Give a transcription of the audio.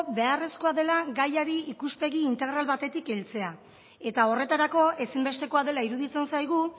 beharrezkoa dela gaiari ikuspegi integral batetik heltzea eta horretarako ezinbestekoa dela iruditzen zaigu